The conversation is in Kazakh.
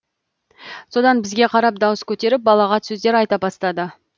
содан бізге қарап дауыс көтеріп балағат сөздер айта бастады